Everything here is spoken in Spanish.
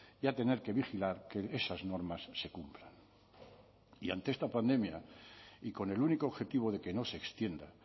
y a tener que vigilar que esas normas se cumplan y ante esta pandemia y con el único objetivo de que no se extienda